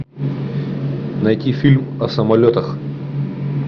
найти фильм о самолетах